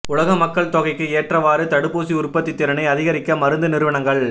உலக மக்கள் தொகைக்கு ஏற்றவாறு தடுப்பூசி உற்பத்தித் திறனை அதிகரிக்க மருந்து நிறுவனங்கள்